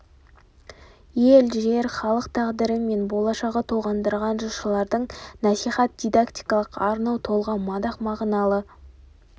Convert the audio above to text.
ел жер халық тағдыры мен болашағы толғандырған жыршылардың насихат дидактикалық арнау толғау мадақ мағыналы